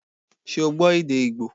Ṣé o gbọ́ èdè Ígbò